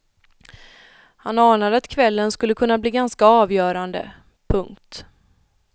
Han anade att kvällen skulle kunna bli ganska avgörande. punkt